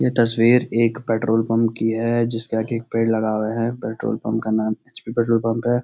ये तस्‍वीर एक पेट्रोल पंप की है जिसके आगे एक पेड़ लगा हुआ है पेट्रोल पंप का नाम एच. पी. पेट्रोल पंप है।